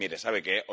Mire, ¿sabe qué?